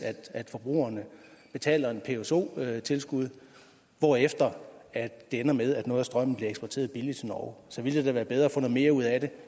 at forbrugerne betaler et pso tilskud hvorefter det ender med at noget af strømmen bliver eksporteret billigt til norge så ville det da være bedre at få mere ud af det